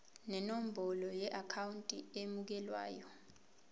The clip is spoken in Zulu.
nenombolo yeakhawunti emukelayo